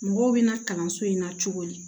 Mɔgɔw bɛna kalanso in na cogo di